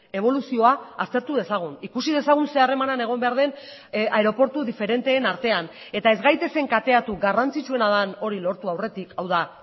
eboluzioa aztertu dezagun ikusi dezagun zer harreman egon behar den aireportu diferenteen artean eta ez gaitezen kateatu garrantzitsuena den hori lortu aurretik hau da